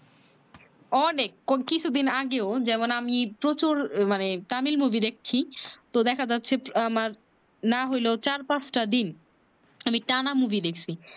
অনেক কো কিছু দিন আগেও যেমন আমি প্রচুর মানে তামিল মুভি দেখছি তো দেখা যাচ্ছে আমার না হয়লেও চার পাচ টা দিন আমি টানা মুভি দেখছি